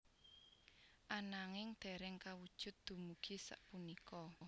Ananging dereng kawujud dumugi sapunika